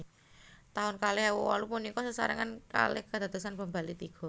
Taun kalih ewu wolu punika sesarengan kalih kedadosan bom Bali tiga